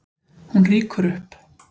Hún rýkur upp.